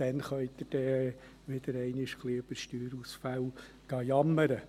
Dann können Sie wieder über Steuerausfälle jammern.